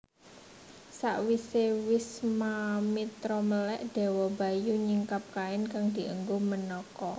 Sawise Wiswamitra melèk Dewa Bayu nyingkap kain kang dienggo Menaka